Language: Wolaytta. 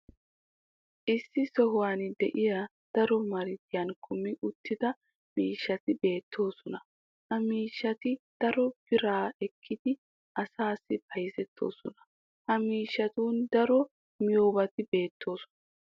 issi sohuwan diya daro marttiya kummi uttida miishshati beetoosona. ha miishati daro biraa ekkidi asaassi bayzzettooosona. ha miishatun darotoo miyobati beetoosona.